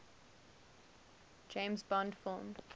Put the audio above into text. james bond film